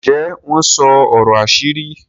Ǹje wọn sọ ọrọ àṣírí?